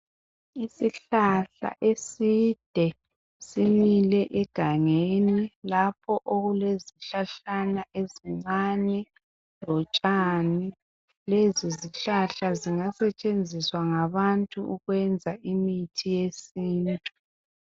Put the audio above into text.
Isihlahla eside simile egangeni lapho okule zihlahlana ezincane lotshani. Lezi zihlahla zingasetshenziswa ngabathu ukwenza imithi yesintu.